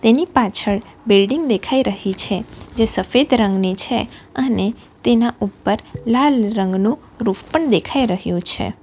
ની પાછળ બિલ્ડીંગ દેખાઈ રહી છે જે સફેદ રંગની છે અને તેના ઉપર લાલ રંગનો પરૂફ પણ દેખાઈ રહ્યો છે.